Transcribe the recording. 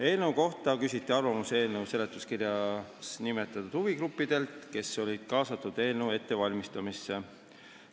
Eelnõu kohta küsiti arvamusi eelnõu seletuskirjas nimetatud huvigruppidelt, kes olid kaasatud eelnõu ettevalmistamisse.